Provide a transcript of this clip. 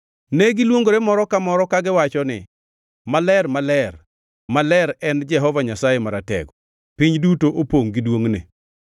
Negiluongore moro ka moro kagiwacho ni: “Maler, Maler, Maler en Jehova Nyasaye Maratego; piny duto opongʼ gi duongʼne.”